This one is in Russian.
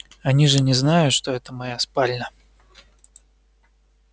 они же не знают что это моя спальня